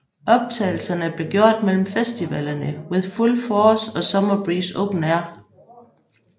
Optagelserne blev gjort mellem festivalerne With Full Force og Summer Breeze Open Air